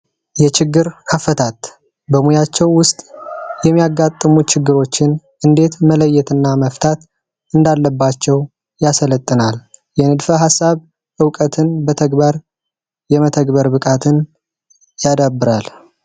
የችግር አፈታት በሙያቸው ውስጥ የሚያጋጥሙ ችግሮችን እንዴት መለየትና መፍታት እንዳለባቸው ያሰለጥናል። የንድፈ ሐሳብ ዕውቀትን በተግበር የመተግበር ብቃትን ያዳብራል።